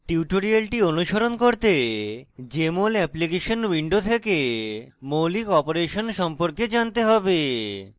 tutorial অনুসরণ করতে jmol application window থেকে মৌলিক অপারেশন সম্পর্কে জানতে হবে